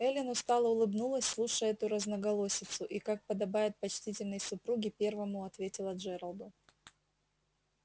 эллин устало улыбнулась слушая эту разноголосицу и как подобает почтительной супруге первому ответила джералду